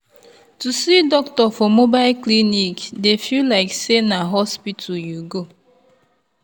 to see doctor for mobile clinic dey feel like say na hospital you go.